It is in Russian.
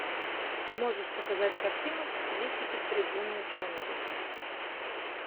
можешь показать картину в стилистике трибуна ученого